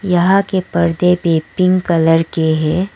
यहां के पर्दे भी एक पिंक कलर के हैं।